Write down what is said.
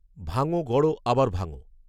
ভাঙো, গড়ো, আবার ভাঙো